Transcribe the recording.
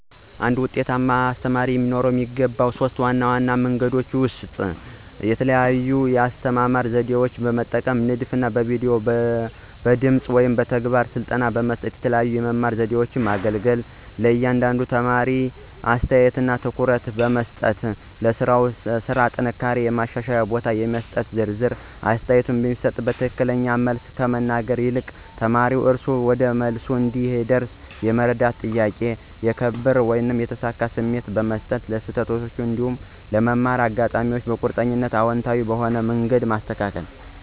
አንድ ውጤታማ መምህር የሚገባው ከፍተኛው ባህሪ ተማሪዎችን በጥልቀት ማስተዋል ነው ብዬ አስባለሁ። ይህ ማለት የእያንዳንዱን ተማሪ የመማር ዘዴ፣ የአስተያየት ዝንባሌ፣ ደስታዎችና ችግሮች መረዳት ነው። ከዚህ መረዳት በመነሳት የሚከተሉት ሶስት ዘዴ ማስተማራ 1, የተለያዩ የአስተማራ ዘዴዎችን መጠቀም (ንድፍ)፣ በቪዲዮ፣ በድምጽ አሞሌ ወይም በተግባራዊ ስልጠና በመስጠት የተለያዩ የመማር ዘዴዎችን ማገለገል። 2, ለእያንዳንዱ ተማሪ ልዩ አስተያየት (ኮንስትራክቲቭ ፊድባክ) መስጠት · ለሥራው ስራ ጥንካሬውና የማሻሻል ቦታውን የሚጠቁም ዝርዝር አስተያየት መስጠት።· የትክክለኛውን መልስ ከመናገር ይልቅ ተማሪው እራሱ ወደ መልሱ እንዲደርስ የሚረዱ ጥያቄዎችን መጠየቅ። 3, የክብር እና የተሳካ ስሜት ማምጣት· ስህተቶችን እንደ መማር አጋጣሚ በመቁጠር አዎንታዊ በሆነ መንገድ ማስተካከል።